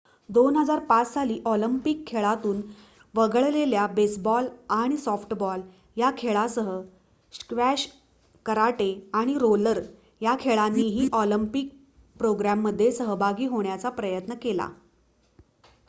२००५ साली ऑलिम्पिक खेळांतून वगळलेल्या बेसबॉल आणि सॉफ्टबॉल या खेळांसह स्क्वॅश कराटे आणि रोलर या खेळांनीही ऑलिम्पिक प्रोग्रॅममध्ये सहभागी होण्याचा प्रयत्न केला